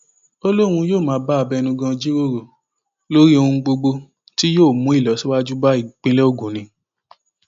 ó lóun yóò máa bá abẹnugan jíròrò lórí ohun gbogbo tí yóò mú ìlọsíwájú bá ìpínlẹ ogun ni